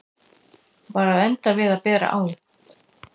Var að enda við að bera á